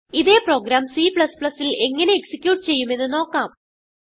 ഇതേ പ്രോഗ്രാം Cൽ എങ്ങനെ എക്സിക്യൂട്ട് ചെയ്യുമെന്ന് നോക്കാം